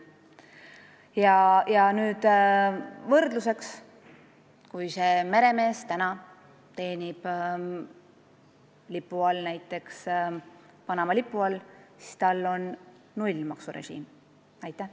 Ja nüüd võrdluseks: kui see meremees teenib näiteks Panama lipu all, siis ta makse ei tasu.